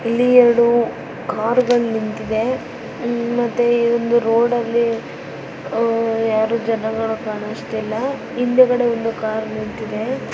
ಇಲ್ಲಿ ಎರಡು ಕಾರ ಗಳು ನಿಂತಿವೆ ಹ್ಮ್ಮ್ ಮತ್ತೆ ಇಲ್ಲಿ ಇದೊಂದು ರೋಡ ಲ್ಲಿ ಆಹ್ ಯಾರು ಜನಗಳು ಕಾಣಿಸ್ತಿಲ್ಲಾ ಹಿಂದುಗಡೆ ಒಂದು ಕಾರ್ ನಿಂತಿದೆ.